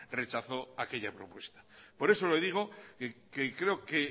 rechazó aquella propuesta por eso le digo que creo que